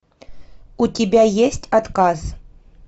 у тебя есть отказ